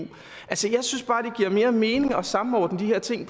jeg synes bare det giver mere mening at samordne de her ting